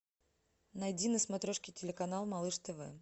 найди на смотрешке телеканал малыш тв